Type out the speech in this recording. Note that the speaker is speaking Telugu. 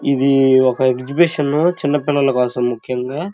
ఇది ఒక ఎక్స్బీషన్ చిన్న పిల్లల కోసం ముఖ్యంగా.